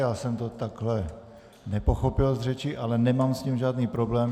Já jsem to takhle nepochopil z řeči, ale nemám s tím žádný problém.